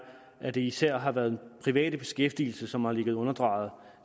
at det især har været den private beskæftigelse som har ligget underdrejet